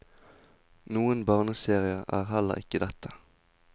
Noen barneserie er heller ikke dette.